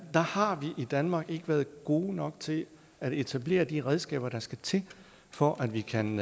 har vi i danmark ikke været gode nok til at etablere de redskaber der skal til for at vi kan